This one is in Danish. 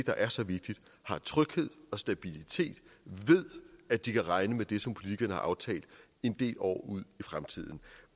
der er så vigtigt har tryghed og stabilitet ved at de kan regne med det som politikerne har aftalt en del år ud i fremtiden